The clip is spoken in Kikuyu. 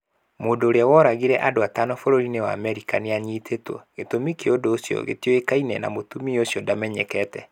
Mũndũ ũrĩa woragire andũ atano bũrũri-inĩ wa Amerika nĩanyiitĩtwo. Gĩtũmi kĩa ũndũ ũcio gĩtioĩkaine, na mũtumia ũcio ndamenyekete.